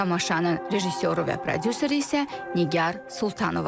Tamaşanın rejissoru və prodüseri isə Nigar Sultanovadır.